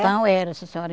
Então era, sim senhora.